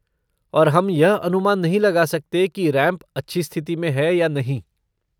और हम यह अनुमान नहीं लगा सकते कि रैंप अच्छी स्थिति में है या नहीं।